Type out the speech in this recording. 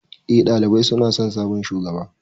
Eh, ɗalibai suna son sabon shugaban.